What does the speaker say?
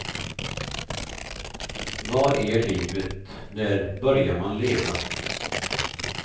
Vad är livet, när börjar man leva.